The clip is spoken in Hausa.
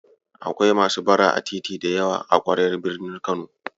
Akwai masu bara a titi da yawa a ƙwaryar birnin Kano.